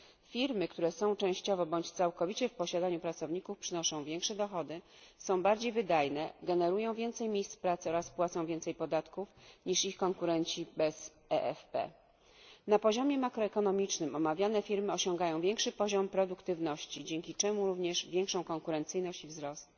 firmy, które są częściowo bądź całkowicie w posiadaniu pracowników, przynoszą większe dochody, są bardziej wydajne, generują więcej miejsc pracy oraz płacą więcej podatków niż ich konkurenci bez tego rodzaju partycypacji finansowej. Na poziomie makroekonomicznym omawiane firmy osiągają większy poziom produktywności, dzięki czemu również większą konkurencyjność i wzrost.